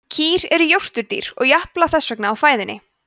kýr eru jórturdýr og japla þess vegna á fæðunni